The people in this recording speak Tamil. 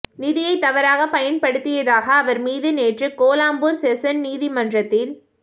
நிதியை தவறாகப் பயன்படுத்தியதாக அவர் மீது நேற்று கோலாலம்பூர் செஷன்ஸ் நீதிமன்றத்தில்